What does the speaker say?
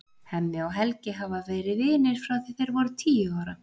Hemmi og Helgi hafa verið vinir frá því að þeir voru tíu ára.